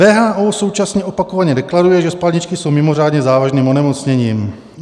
WHO současně opakovaně deklaruje, že spalničky jsou mimořádně závažným onemocněním.